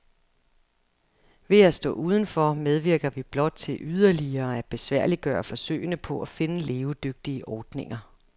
Ved at stå udenfor medvirker vi blot til yderligere at besværliggøre forsøgene på at finde levedygtige ordninger.